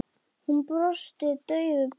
Hún brosti daufu brosi.